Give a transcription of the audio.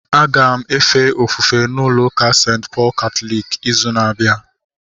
Aga m efe ofufe n'ụlọ ụka St. Pọl katọliki ịzụ na-abịa